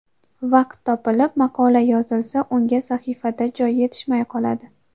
Vaqt topilib maqola yozilsa unga sahifada joy yetishmay qoladi.